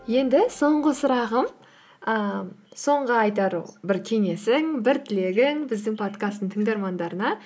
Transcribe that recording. енді соңғы сұрағым ііі соңғы айтар бір кеңесің бір тілегің біздің подкасттың тыңдармандарына